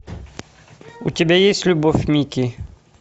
у тебя есть любовь микки